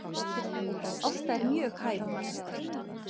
Ásta er mjög hæf manneskja